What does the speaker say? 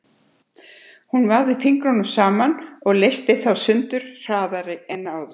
Hún vafði fingrunum saman og leysti þá sundur hraðar en áður.